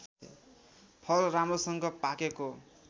फल राम्रोसँग पाकेको